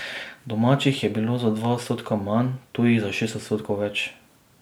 Domačih je bilo za dva odstotka manj, tujih za šest odstotkov več.